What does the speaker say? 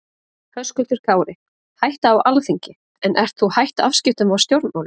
Höskuldur Kári: Hætta á Alþingi en ert þú hætt afskiptum af stjórnmálum?